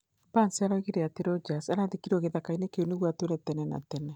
Barns oigire atĩ Rogers arathikirũo gĩthaka-inĩ kĩu nĩguo "atũre kuo tene na tene"